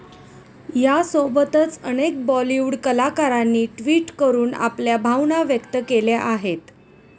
यासोबतच अनेक बॉलिवूड कलाकारांनी ट्विट करून आपल्या भावना व्यक्त केल्या आहेत.